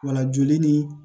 Wala joli ni